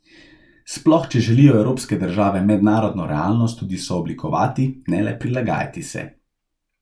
Sploh, če želijo evropske države mednarodno realnost tudi sooblikovati, ne le prilagajati se.